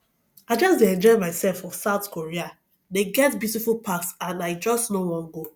i just dey enjoy myself for south korea they get beautiful parks and i just no wan go